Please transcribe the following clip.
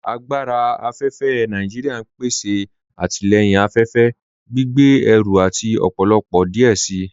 Agbára afẹ́fẹ́ Nàìjíríà n pèsè àtilẹ̀yìn afẹ́fẹ́, gbìgbé ẹ̀rù àti ọ̀pọ̀lọ̀pọ̀ díẹ̀ sí.